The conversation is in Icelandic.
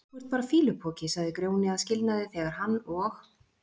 Þú ert bara fýlupoki, sagði Grjóni að skilnaði þegar hann og